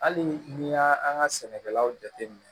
Hali n'i y'a an ka sɛnɛkɛlaw jate minɛ